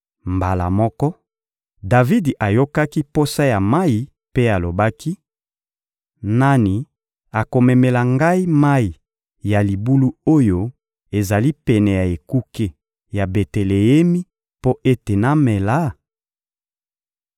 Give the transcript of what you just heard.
Mbala moko, Davidi ayokaki posa ya mayi mpe alobaki: «Nani akomemela ngai mayi ya libulu oyo ezali pene ya ekuke ya Beteleemi mpo ete namela?»